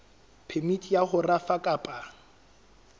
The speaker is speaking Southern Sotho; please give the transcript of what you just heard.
phemiti ya ho rafa kapa